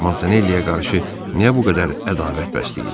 Montanelliyə qarşı niyə bu qədər ədavət bəsləyir?